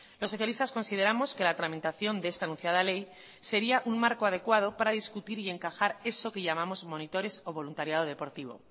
los socialistas consideramos que la tramitación de esta anunciada ley sería un marco adecuado para discutir y encajar eso que llamamos monitores o voluntariado deportivo